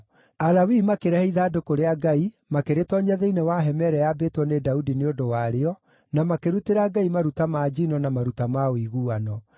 Alawii makĩrehe ithandũkũ rĩa Ngai, makĩrĩtoonyia thĩinĩ wa hema ĩrĩa yaambĩtwo nĩ Daudi nĩ ũndũ warĩo, na makĩrutĩra Ngai maruta ma njino na maruta ma ũiguano.